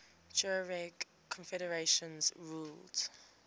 tuareg confederations ruled